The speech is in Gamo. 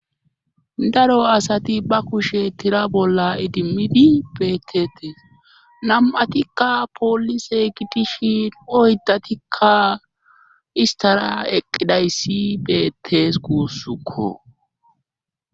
Daro asati ba kushe tira bolla idimmidi beettetees nam'atikka poolise gidishin oydatikka istara eqqidayssi beettes kuussukko.